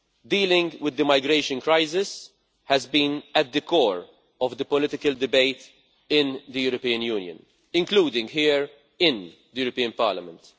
Dealing with the migration crisis has been at the core of the political debate in the European Union, including here in the European Parliament.